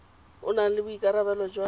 o nang le boikarabelo jwa